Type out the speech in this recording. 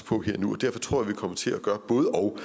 på her og nu og derfor tror jeg vi kommer til at gøre både og